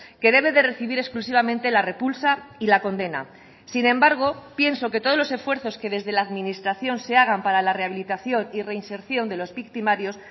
que debe de recibir exclusivamente la repulsa y la condena sin embargo pienso que todos los esfuerzos que desde la administración se hagan para la rehabilitación y reinserción de los victimarios